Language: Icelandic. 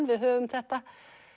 við höfum þetta